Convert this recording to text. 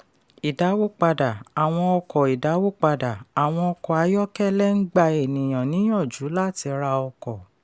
idawopada: àwọn ọkọ idawopada: àwọn ọkọ ayọ́kẹ́lẹ̣ ń gba ènìyàn níyànjú láti ra ọkọ.